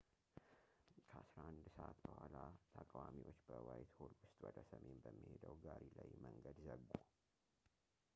ከ11፡00 በኋላ፣ ተቃዋሚዎች በዋይትሆል ውስጥ ወደ ሰሜን በሚሄደው ጋሪ ላይ መንገድ ዘጉ